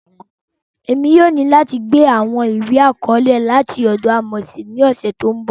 Emi yóò ni lati gba awọn iwe-akọọlẹ lati ọdọ Amosi ni ọsẹ ti n bọ